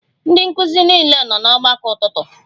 Ndị nkụzi niile nọ n'ọgbakọ ụtụtụ?